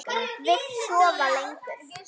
Vill sofa lengur.